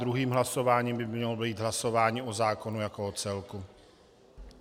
Druhým hlasováním by mělo být hlasování o zákonu jako o celku.